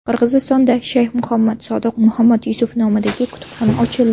Qirg‘izistonda Shayx Muhammad Sodiq Muhammad Yusuf nomidagi kutubxona ochildi.